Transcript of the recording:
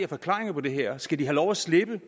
forklaringer på det her skal de have lov at slippe